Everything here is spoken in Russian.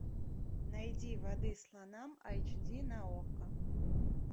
найди воды слонам айч ди на окко